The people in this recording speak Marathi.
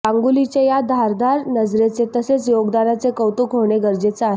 गांगुलीच्या या धारदार नजरेचे तसेच योगदानाचे कौतुक होणे गरजेचे आहे